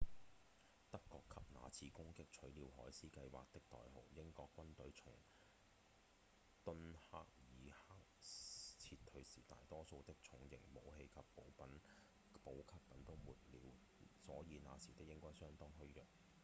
德國給那次攻擊取了「海獅計畫」的代號英國軍隊從敦克爾克撤退時大多數的重型武器和補給品都沒了所以那時的英軍相當虛弱